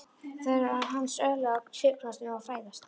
Það eru hans örlög að skyggnast um og fræðast.